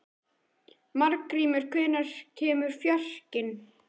Margrímur, hvenær kemur fjarkinn?